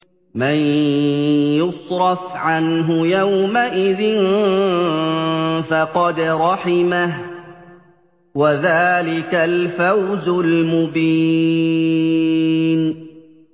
مَّن يُصْرَفْ عَنْهُ يَوْمَئِذٍ فَقَدْ رَحِمَهُ ۚ وَذَٰلِكَ الْفَوْزُ الْمُبِينُ